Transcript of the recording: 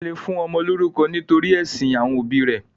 Wọ́n le fún ọmọ lórúkọ nítorí ẹ̀sìn àwọn òbí rẹ̀.